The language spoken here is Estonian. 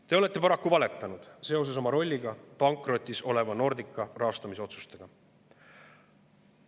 Te olete paraku valetanud oma rolli kohta seoses pankrotis oleva Nordica rahastamise otsustega.